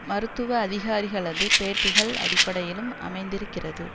மருத்துவ அதிகாரிகளது பேட்டிகள் அடிப்படையிலும் அமைந்திருக்கிறது